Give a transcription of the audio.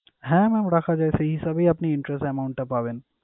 হ্যাঁ mam রাখা যায়। সেই হিসাবেই আপনি interest amount টা পাবেন।